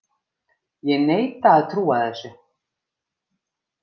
Ég neita að trúa þessu!